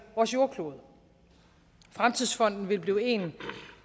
vores jordklode fremtidsfonden vil blive en